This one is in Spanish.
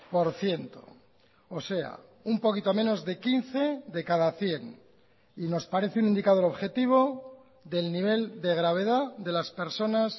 por ciento o sea un poquito menos de quince de cada cien y nos parece un indicador objetivo del nivel de gravedad de las personas